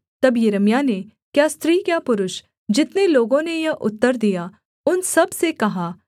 तब यिर्मयाह ने क्या स्त्री क्या पुरुष जितने लोगों ने यह उत्तर दिया उन सबसे कहा